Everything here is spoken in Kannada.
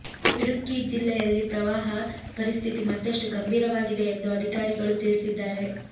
ಇಡುಕ್ಕಿ ಜಿಲ್ಲೆಯಲ್ಲಿ ಪ್ರವಾಹ ಪರಿಸ್ಥಿತಿ ಮತ್ತಷ್ಟು ಗಂಭೀರವಾಗಿದೆ ಎಂದು ಅಧಿಕಾರಿಗಳು ತಿಳಿಸಿದ್ದಾರೆ